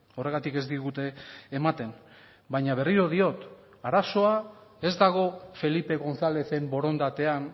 horregatik ez digute ematen baina berriro diot arazoa ez dago felipe gonzálezen borondatean